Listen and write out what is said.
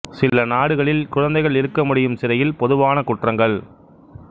சில நாடுகளில் குழந்தைகள் இருக்க முடியும் சிறையில் பொதுவான குற்றங்கள்